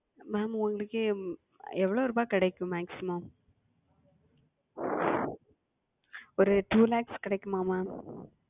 Ma'am உங்களுக்கு எவ்வளவு ரூபா கிடைக்கும்? Maximum ஒரு Two Lakhs கிடைக்குமா Ma'am?